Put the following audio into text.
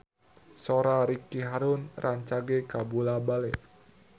Sora Ricky Harun rancage kabula-bale